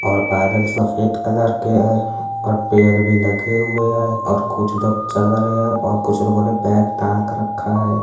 और बादल सफ़ेद कलर के है और पेड़ भी लगे हुए हैं और कुछ लोग चल रहे है और कुछ लोगो ने बैग टांग रखा है।